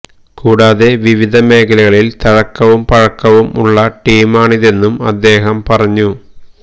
കൂടാതെ വിവിധ മേഖലകളിൽ തഴക്കവും പഴക്കവും ഉള്ള ടീമാണിതെന്നും അദ്ദേഹം പറഞ്ഞു